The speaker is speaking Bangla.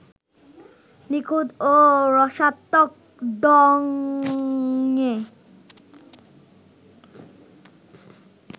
নিখুঁত ও রসাত্মক ঢংয়ে